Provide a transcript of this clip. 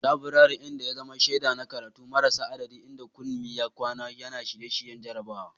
Laburaren, wanda ya zama shaida na karatu marasa adadi, inda Kunmi ya kwana yana shirye-shiryen jarabawa.